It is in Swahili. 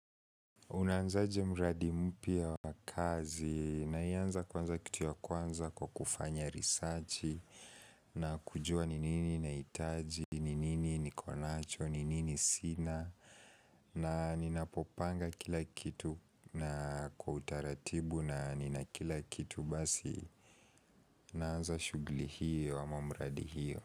Unaanza je mradi mpya wa kazi na ianza kwanza kitu ya kwanza kwa kufanya research na kujua ni nini ninahitaji, ninini nikonacho ni nini sina na ninapopanga kila kitu na kwa utaratibu na ninakila kitu basi Naanza shughuli hiyo ama mradi hiyo.